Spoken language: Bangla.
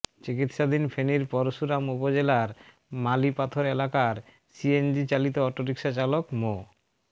চিকিৎসাধীন ফেনীর পরশুরাম উপজেলার মালিপাথর এলাকার সিএনজি চালিত অটোরিকশা চালক মো